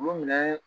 U minɛ